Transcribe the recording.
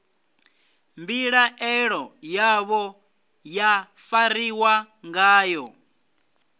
mbilaelo yavho ya fariwa ngayo